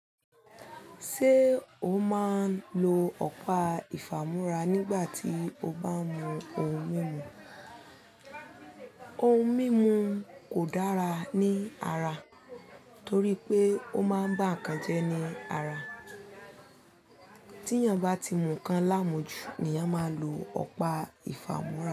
Ṣé o máa ń lo ọ̀pá ìfàmúrà nígbà tí o bá ń mu ohun mímu? Ohun mímu kò dára ní ara torí pé ó máa ń bá nǹkan jẹ́ ní ara. Tí èèyàn bá ti mu nǹkan láàmú ju ni èèyàn máa lo ọ̀pá ìfàmúrà.